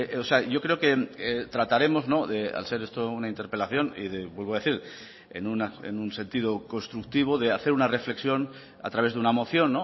o sea yo creo que trataremos al ser esto una interpelación y vuelvo a decir en un sentido constructivo de hacer una reflexión a través de una moción